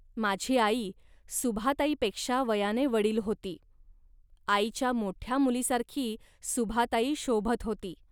माझी आई सुभाताईपेक्षा वयाने वडील होती. आईच्या मोठ्या मुलीसारखी सुभाताई शोभत होती